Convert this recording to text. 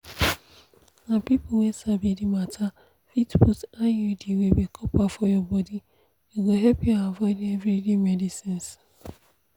na people wey sabi the matter fit put iud wey be copper for your body e go help you avoid everyday medicines